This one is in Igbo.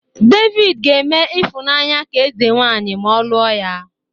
David ga-eme Ifunanya ka eze-nwanyị ma ọ lụọ ya